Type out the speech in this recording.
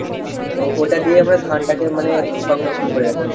তো ওটা দিয়েই আমরা ধানটাকে মানে সংরক্ষণ করে রাখি।